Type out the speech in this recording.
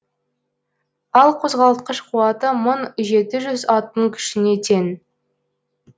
ал қозғалтқыш қуаты мың жеті жүз аттың күшіне тең